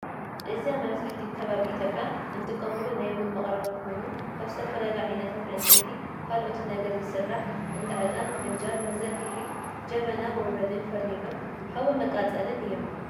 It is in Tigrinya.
እዚ አብ መብዛሕትኡ ከባቢ ኢትዮጵያ እንጥቀመሉ ናይ ቡን መቀረቢ ኮይኑ ካብ ዝተፈላለዩ ዓይነታት ዕነፀይቲ ካልኦት ነገርን ዝስራሕ እንዳ ዕጣን፣ ፍንጃል መዘርግሒ፣ ጀበና መውረዲንፍርኖሎ ሐዊ መቃፀልን እዮም።